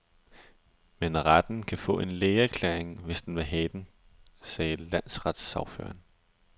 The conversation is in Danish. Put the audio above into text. Men retten kan få en lægeerklæring, hvis den vil have den, siger landsretssagføreren.